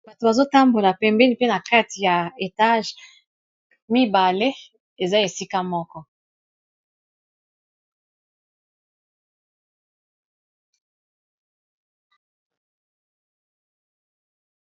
Bato bazotambola pembini mpe na crte ya etage mibale eza esika moko.